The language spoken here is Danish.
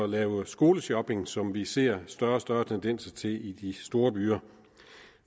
lave skoleshopping som vi ser større og større tendenser til i de store byer